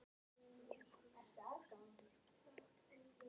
Ég kom inn og settist við borðið.